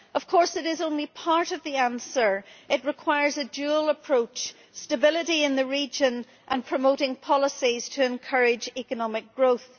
Of course, it is only part of the answer. It requires a dual approach stability in the region and promoting policies to encourage economic growth.